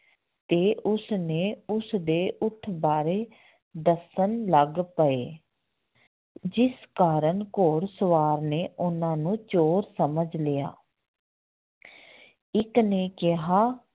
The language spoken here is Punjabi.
ਤੇ ਉਸਨੇ ਉਸਦੇ ਊਠ ਬਾਰੇ ਦੱਸਣ ਲੱਗ ਪਏ ਜਿਸ ਕਾਰਨ ਘੋੜ ਸਵਾਰ ਨੇ ਉਹਨਾਂ ਨੂੰ ਚੋਰ ਸਮਝ ਲਿਆ ਇੱਕ ਨੇ ਕਿਹਾ